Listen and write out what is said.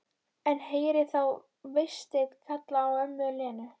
En heyri þá Véstein kalla á ömmu Lenu.